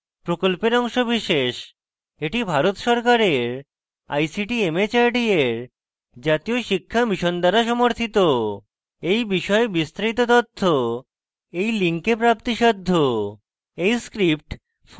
এটি ভারত সরকারের ict mhrd এর জাতীয় শিক্ষা mission দ্বারা সমর্থিত এই বিষয়ে বিস্তারিত তথ্য এই link প্রাপ্তিসাধ্য